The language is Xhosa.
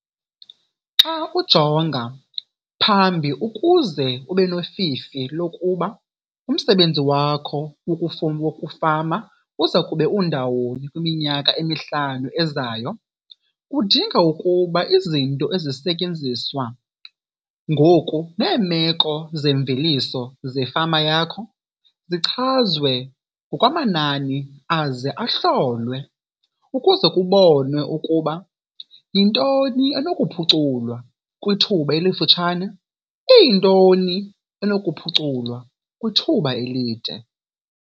Xa ujonga phambi ukuze ube nofifi lokuba umsebenzi wakho wokufama uza kube undawoni kwiminyaka emihlanu ezayo kudinga ukuba izinto ezisetyenziswa ngoku neemeko zemveliso zefama yakho zichazwe ngokwamanani aze ahlolwe ukuze kubonwe ukuba yintoni enokuphuculwa kwithuba elifutshane iyintoni enokuphuculwa kwithuba elide.